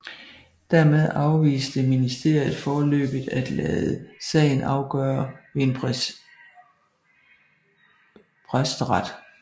Dermed afviste ministeriet foreløbigt at lade sagen afgøre ved en præsteret